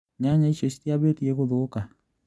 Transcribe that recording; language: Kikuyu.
Nyanya icio citiambĩtie gũthũka?